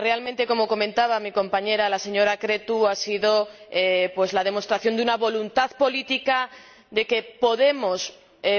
Realmente, como comentaba mi compañera, Corina Creţu, ha sido la demostración de una voluntad política, de que podemos